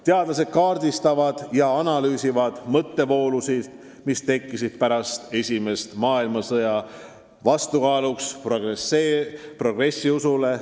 Teadlased kaardistavad ja analüüsivad mõttevoolusid, mis tekkisid pärast esimest maailmasõda vastukaaluks progressiusule.